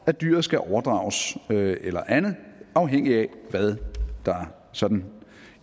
at dyret skal overdrages eller andet afhængig af hvad der sådan